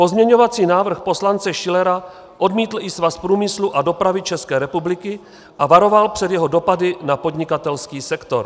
Pozměňovací návrh poslance Schillera odmítl i Svaz průmyslu a dopravy České republiky a varoval před jeho dopady na podnikatelský sektor.